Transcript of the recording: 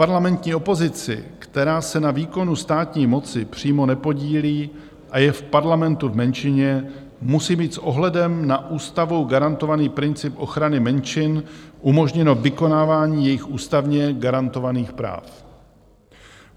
Parlamentní opozici, která se na výkonu státní moci přímo nepodílí a je v parlamentu v menšině, musí být s ohledem na ústavou garantovaný princip ochrany menšin umožněno vykonávání jejích ústavně garantovaných práv.